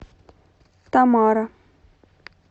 тамара